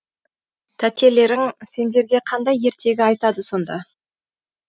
тәтелерің сендерге қандай ертегі айтады сонда